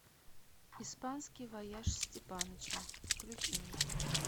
испанский вояж степаныча включи мне